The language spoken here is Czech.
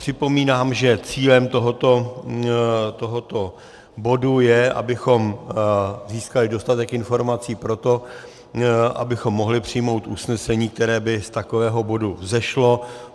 Připomínám, že cílem tohoto bodu je, abychom získali dostatek informací pro to, abychom mohli přijmout usnesení, které by z takového bodu vzešlo.